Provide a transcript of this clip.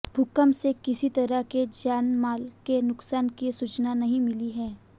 भूकंप से किसी तरह के जानमाल के नुकसान की सूचना नहीं मिली है